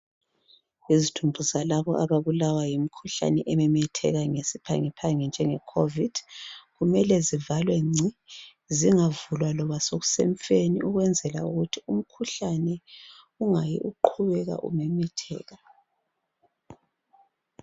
Izidumbu zalabo ababulawa yimikhuhlane ememetheka ngesiphangiphangi njenge covid kumele zivalwe ngci zingavulwa loba sokusemfeni ukwenzela ukuthi umkhuhlane ungayi uqhubeka umemetheka.